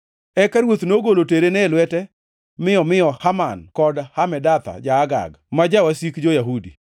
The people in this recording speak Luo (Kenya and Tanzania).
Eka ruoth nogolo terene e lwete mi omiyo Haman wuod Hamedatha, ja-Agag, ma jawasik jo-Yahudi.